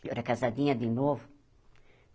Eu era casadinha de novo.